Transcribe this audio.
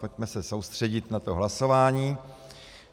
Pojďme se soustředit na to hlasování.